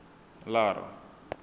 lara